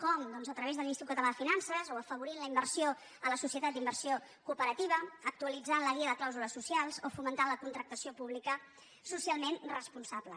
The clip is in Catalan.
com doncs a través de l’ins·titut català de finances o afavorint la inversió en les societats d’inversió cooperativa actualitzant la guia de clàusules socials o fomentant la contractació pública socialment responsable